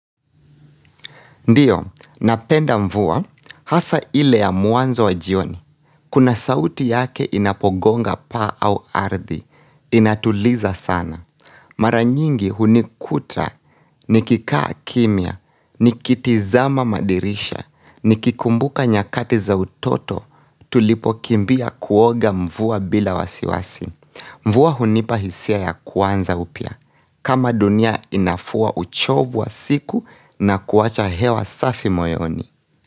Ndiyo, napenda mvua hasa ile ya mwanzo wa jioni. Kuna sauti yake inapogonga paa au ardhi. Inatuliza sana. Mara nyingi hunikuta, nikikaa kimya, nikitizama madirisha, nikikumbuka nyakati za utoto tulipo kimbia kuoga mvua bila wasiwasi. Mvua hunipa hisia ya kuanza upya. Kama dunia inafua uchovu wa siku na kuacha hewa safi moyoni.